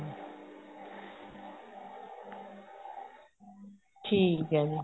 ਠੀਕ ਏ ਜੀ